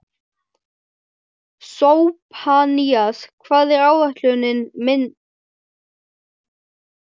Sophanías, hvað er á áætluninni minni í dag?